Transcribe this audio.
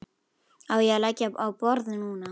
Á ég að leggja á borðið núna?